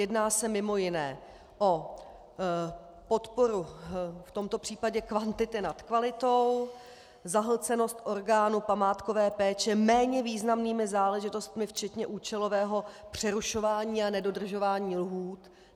Jedná se mimo jiné o podporu v tomto případě kvantity nad kvalitou, zahlcenost orgánů památkové péče méně významnými záležitostmi včetně účelového přerušování a nedodržování lhůt.